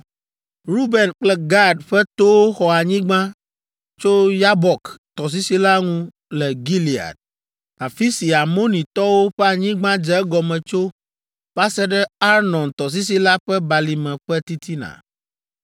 Ruben kple Gad ƒe towo xɔ anyigba tso Yabok tɔsisi la ŋu le Gilead, afi si Amonitɔwo ƒe anyigba dze egɔme tso va se ɖe Arnon tɔsisi la ƒe balime ƒe titina.